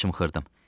Mən çımxırdım.